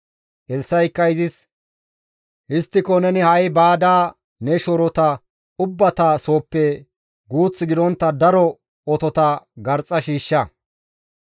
Elssa7ikka izis, «Histtiko neni ha7i baada ne shoorota ubbata sooppe guuth gidontta daro otota garxxa shiishsha.